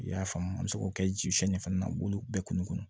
I y'a faamu an bɛ se k'o kɛ jisɔn ni fana na olu bɛɛ kun